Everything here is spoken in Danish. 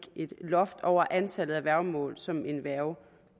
et loft over antallet af værgemål som en værge